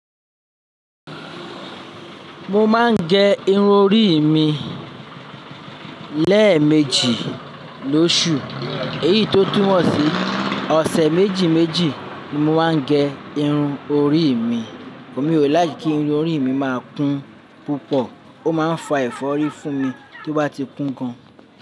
Mo máa ń gẹ irun orí mi lẹ́ẹ̀mejì lóṣù. Èyí tó túmọ̀ sí ọ̀sẹ̀ méjì méjì ni mo máa ń gẹ irun orí mi. Mi ò nife kí irun orí mi má kun púpọ̀, ó máa ń fa ẹ̀fọ́rí fún mi tí ó bá ti kún gan.